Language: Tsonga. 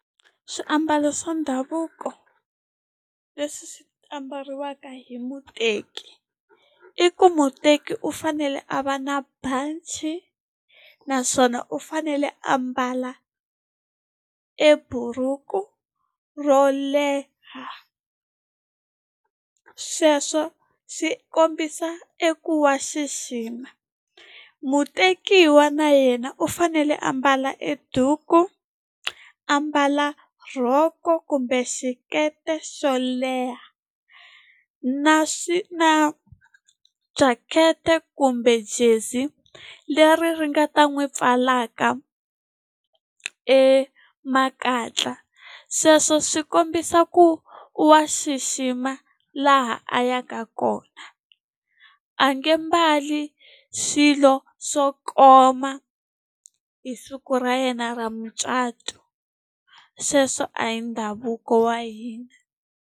Swiambalo swa ndhavuko leswi swi ambariwaka hi muteki i ku muteki u fanele a va na banci naswona u fanele a mbala e buruku ro leha sweswo swi kombisa eku wa xixima. Mutekiwa na yena u fanele a a mbala e duku a mbala rhoko kumbe xikete xo leha na xi na jacket kumbe jezi leri ri nga ta n'wi pfalaka e makatla sweswo swi kombisa ku wa xixima laha a yaka kona a nge mbalo swilo swo koma hi siku ra yena ra mucato sweswo a hi ndhavuko wa hina.